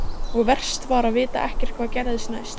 Og verst var að vita ekkert hvað gerðist næst.